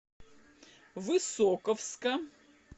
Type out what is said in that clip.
высоковска